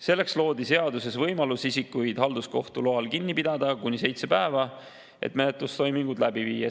Selleks loodi seaduses võimalus isikuid halduskohtu loal kinni pidada kuni seitse päeva, et menetlustoimingud läbi viia.